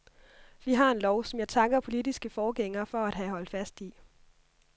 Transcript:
Vi har en lov, som jeg takker politiske forgængere for at have holdt fast i.